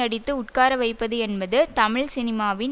அடித்து உட்கார வைப்பது என்பது தமிழ் சினிமாவின்